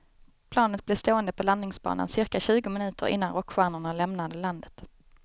Planet blev stående på landningsbanan cirka tjugo minuter innan rockstjärnorna lämnade landet.